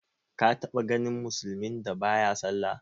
Ka taɓa ganin musulmin da ba ya sallah?